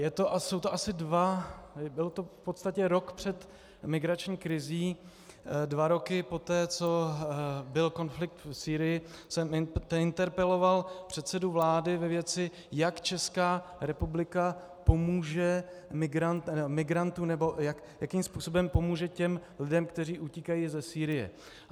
Jsou to asi dva, bylo to v podstatě rok před migrační krizí, dva roky poté, co byl konflikt v Sýrii, jsem interpeloval předsedu vlády ve věci, jak Česká republika pomůže migrantům, nebo jakým způsobem pomůže těm lidem, kteří utíkají ze Sýrie.